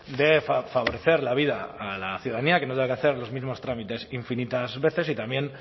de favorecer la vida a la ciudadanía que no tenga que hacer los mismos trámites infinitas veces y también